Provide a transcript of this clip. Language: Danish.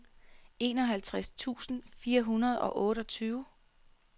enoghalvtreds tusind fire hundrede og otteogtyve